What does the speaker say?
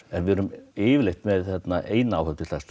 en við erum yfirleitt með eina áhöfn